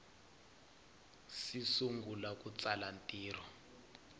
si sungula ku tsala ntirho